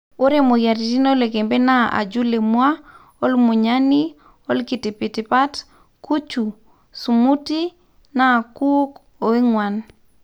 ore moyiaritin oloikembe naa ajul emua, olamunyani, ilkitipitipat, kuchu, smuti ,nkuuk oo enguan